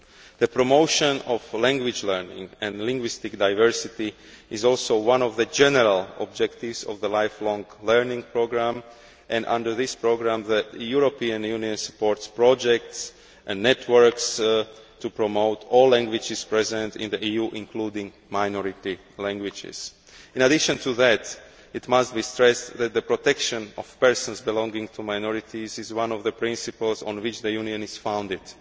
The promotion of language learning and linguistic diversity is also one of the general objectives of the lifelong learning programme. Under this programme, the European Union supports projects and networks to promote all languages present in the EU, including minority languages. In addition to that, it must be stressed that the protection of persons belonging to minorities is one of the principles on which the Union is founded.